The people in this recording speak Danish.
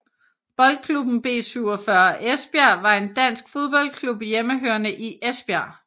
Boldklubben B 47 Esbjerg var en dansk fodboldklub hjemmehørende i Esbjerg